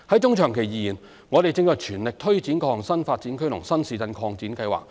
中長期而言，我們正全力推展各項新發展區和新市鎮擴展計劃。